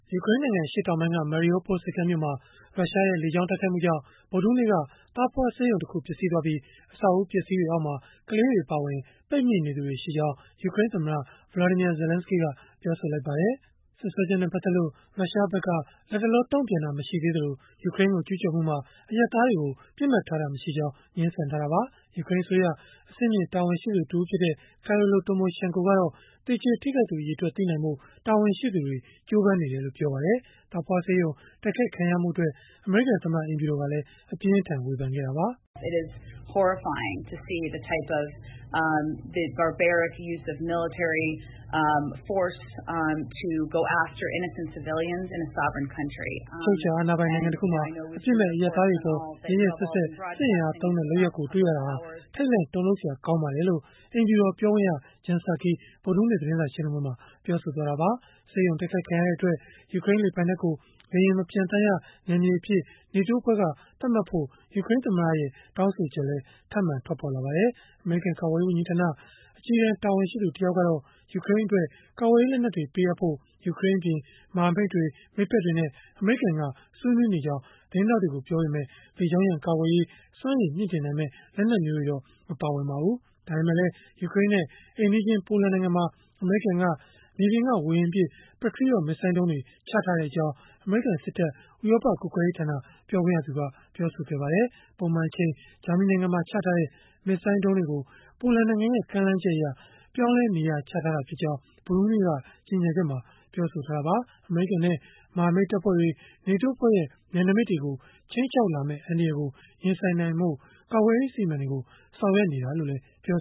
ယူကရိန်းနိုင်ငံ အရှေ့တောင်ပိုင်းက Mariupol ဆိပ်ကမ်းမြို့မှာ ရုရှားရဲ့ လေကြောင်းတိုက်ခိုက်မှုကြောင့် ဗုဒ္ဓဟူးနေ့က သားဖွားဆေးရုံတရုံ ပျက်စီးသွားပြီး၊ အဆောက်အဦး အပျက်အစီးတွေအောက်မှာ ကလေးတွေ အပါအဝင် ပိတ်မိနေသူတွေ ရှိကြောင်း ယူကရိန်းသမ္မတ Volodymyr Zelensky ကပြောလိုက်ပါတယ်။ စွပ်စွဲချက်နဲ့ ပတ်သက်လို့ ရုရှားဖက်က လတ်တလော တုံ့ပြန်တာ မရှိသေးသလို၊ ယူကရိန်းကို ကျုးကျော်မှုမှာ အရပ်သားတွေကို ပစ်မှတ်ထားတာ မရှိကြောင်း ငြင်းဆန်ထားတာပါ။ ယူကရိန်းအစိုးရ အဆင့်မြင့် တာဝန်ရှိသူတဦးဖြစ်တဲ့ Kyrylo Tymoshenko ကတော့ သေကျေထိခိုက်သူ အရေအတွက် သိနိုင်ဖို့ တာဝန်ရှိသူတွေ ကြိုးပမ်းနေကြောင်း ပြောပါတယ်။ သားဖွားဆေးရုံ တိုက်ခိုက်ခံရမှုအတွက် အမေရိကန်သမ္မတ အိမ်ဖြူတော်ကလည်း အပြင်းအထန် ဝေဖန်ခဲ့တာပါ။ “အချုပ်အခြာအာဏာပိုင် နိုင်ငံတခုမှာ အပြစ်မဲ့အရပ်သားတွေအပေါ် ရက်ရက်စက်စက် စစ်အင်အားသုံးတဲ့ လုပ်ရပ်ကို တွေ့ရတာဟာ ထိတ်လန့်တုန်လှုပ်စရာ ကောင်းပါတယ်။” လို့ အိမ်ဖြူတော်ပြောခွင့်ရ Jen Psaki က ဗုဒ္ဓဟူးနေ့ သတင်းစာ ရှင်းလင်းပွဲမှာ ပြောဆိုလိုက်တာပါ။ ဆေးရုံတိုက်ခိုက်ခံရတဲ့အတွက် ယူကရိန်းလေပိုင်နက်ကို လေယာဉ်မပျံသန်းရနယ်မြေအဖြစ် NATO အဖွဲ့က သတ်မှတ်ဖို့ ယူကရိန်းသမ္မတရဲ့ တောင်းဆိုချက်လည်း ထပ်မံထွက်ပေါ်လာခဲ့ပါတယ်။ အမေရိကန် ကာကွယ်ရေး ဝန်ကြီးဌာန အကြီးတန်းတာဝန်ရှိသူ တယောက်ကတော့ ယူကရိန်းအတွက် ကာကွယ်ရေး လက်နက်တွေ ပေးအပ်ဖို့ ယူကရိန်းအပြင်၊ မဟာမိတ်တွေ၊ မိတ်ဖက်တွေနဲ့ အမေရိကန်က ဆွေးနွေးနေကြောင်း သတင်းထောက်တွေကို ပြောခဲ့ပေမဲ့ လေကြောင်းရန်ကာကွယ်ရေး စွမ်းရည်မြှင့်တင်နိုင်မယ့် လက်နက်တွေတော့ မပါပါဘူး။ ဒါပေမဲ့လည်း ယူကရိန်းနဲ့ အိမ်နီးချင်း ပိုလန်နိုင်ငံမှာ အမေရိကန်က မြေပြင်က ဝေဟင်ပစ် Patriot မစ်ဇိုင်းဒုံးတွေ ချထားကြောင်း အမေရိကန်စစ်တပ် ဥရောပကွပ်ကဲရေးဌာန ပြောခွင့်ရက ပြောပါတယ်။ ပုံမှန်အချိန် ဂျာမနီနိုင်ငံမှာ ချထားတဲ့ မစ်ဇိုင်းဒုံးတွေကို ပိုလန်နိုင်ငံရဲ့ ကမ်းလှမ်းချက်အရ ပြောင်းလဲနေရာချထားတာ ဖြစ်ကြောင်း ဗုဒ္ဓဟူးနေ့က ကြေညာချက်မှာ ပြောဆိုထားတာပါ။ အမေရိကန်နဲ့ မဟာမိတ်တပ်ဖွဲ့တွေ၊ NATO အဖွဲ့ရဲ့ နယ်နမိတ်တွေကို ခြိမ်းခြောက်လာမယ့် အန္တရာယ်ကို ရင်ဆိုင်နိုင်ဖို့ ကာကွယ်ရေး အစီအမံတွေကို ဆောင်ရွက်နေတာလို့လည်း ပြော